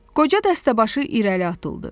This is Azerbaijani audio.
Qoca dəstəbaşı irəli atıldı.